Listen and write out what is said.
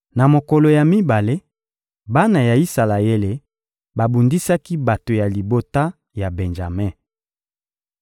Na mokolo ya mibale, bana ya Isalaele babundisaki bato ya libota ya Benjame.